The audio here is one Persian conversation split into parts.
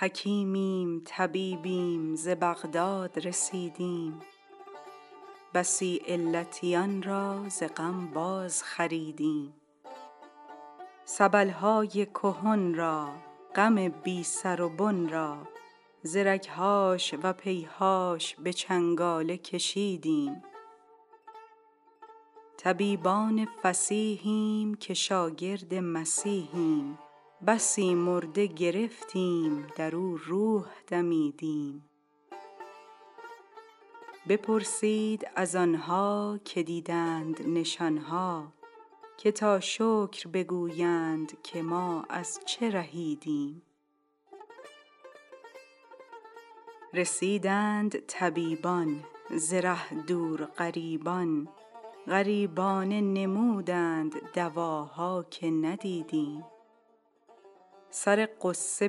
حکیمیم طبیبیم ز بغداد رسیدیم بسی علتیان را ز غم بازخریدیم سبل های کهن را غم بی سر و بن را ز رگ هاش و ز پی هاش به چنگاله کشیدیم طبیبان فصیحیم که شاگرد مسیحیم بسی مرده گرفتیم در او روح دمیدیم بپرسید از آن ها که دیدند نشان ها که تا شکر بگویند که ما از چه رهیدیم رسیدند طبیبان ز ره دور غریبان غریبانه نمودند دواها که ندیدیم سر غصه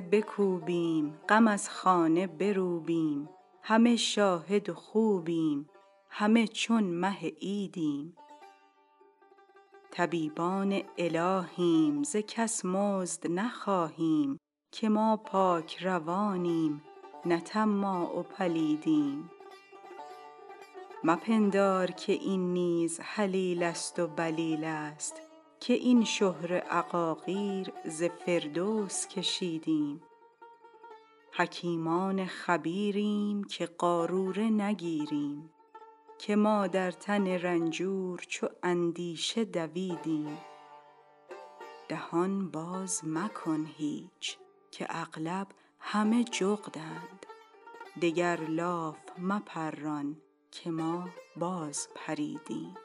بکوبیم غم از خانه بروبیم همه شاهد و خوبیم همه چون مه عیدیم طبیبان الهیم ز کس مزد نخواهیم که ما پاک روانیم نه طماع و پلیدیم مپندار که این نیز هلیله ست و بلیله ست که این شهره عقاقیر ز فردوس کشیدیم حکیمان خبیریم که قاروره نگیریم که ما در تن رنجور چو اندیشه دویدیم دهان باز مکن هیچ که اغلب همه جغدند دگر لاف مپران که ما بازپریدیم